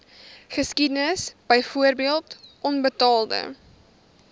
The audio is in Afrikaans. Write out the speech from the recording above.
geskiedenis byvoorbeeld onbetaalde